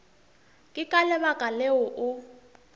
ke ka lebaka leo o